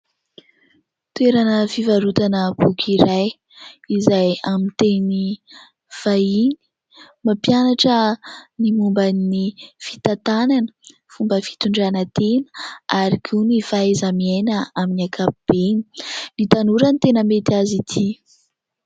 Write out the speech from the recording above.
Toerana fivarotana boky iray izay amin'ny teny vahiny, mampianatra ny momba ny : fitantanana, fomba fitondrana tena ary koa ny fahaiza-miaina amin'ny ankapobeny. Ny tanora no tena mety azy ity.